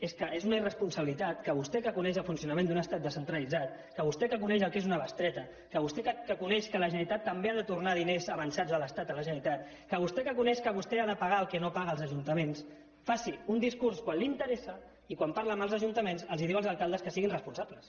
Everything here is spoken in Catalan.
és que és una irresponsabilitat que vostè que coneix el funcionament d’un estat descentralitzat que vostè que coneix el que és una bestreta que vostè que coneix que la generalitat també ha de tornar diners avançats de l’estat a la generalitat que vostè que coneix que vostè ha de pagar el que no paga als ajuntaments faci un discurs quan l’interessa i quan parla amb els ajuntaments els diu als alcaldes que siguin responsables